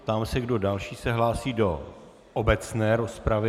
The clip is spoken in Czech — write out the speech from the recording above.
Ptám se, kdo další se hlásí do obecné rozpravy.